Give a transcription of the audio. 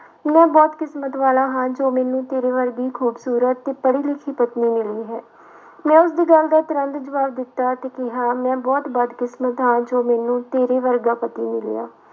ਮੈਂ ਬਹੁਤ ਕਿਸਮਤ ਵਾਲਾ ਹਾਂ ਜੋ ਮੈਨੂੰ ਤੇਰੇ ਵਰਗੀ ਖੂਬਸੂਰਤ ਤੇ ਪੜ੍ਹੀ ਲਿਖੀ ਪਤਨੀ ਮਿਲੀ ਹੈ। ਮੈਂ ਉਸਦੀ ਗੱਲ ਦਾ ਤੁਰੰਤ ਜਵਾਬ ਦਿੱਤਾ ਤੇ ਕਿਹਾ ਮੈਂ ਬਹੁਤ ਬਦਕਿਸਮਤ ਹਾਂ ਜੋ ਮੈਨੂੰ ਤੇਰੇ ਵਰਗਾ ਪਤੀ ਮਿਲਿਆ।